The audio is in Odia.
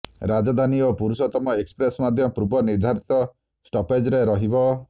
ରାଜଧାନୀ ଓ ପୁରୁଷୋତ୍ତମ ଏକ୍ସପ୍ରେସ ମଧ୍ୟ ପୂର୍ବ ନିର୍ଦ୍ଧାରିତ ଷ୍ଟପେଜରେ ରହିବ